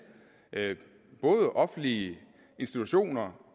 både offentlige institutioner